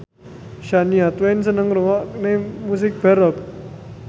Shania Twain seneng ngrungokne musik baroque